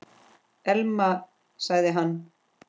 Elma- sagði hann.